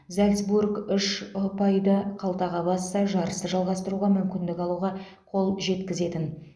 зальцбург үш ұпайды қалтаға басса жарысты жалғастыруға мүмкіндік алуға қол жеткізетін